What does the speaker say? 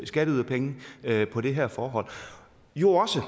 skatteyderpenge på det her forhold jo også